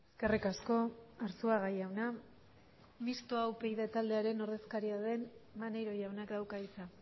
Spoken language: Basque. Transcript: eskerrik asko arzuaga jauna mistoa upyd taldearen ordezkaria den maneiro jaunak dauka hitza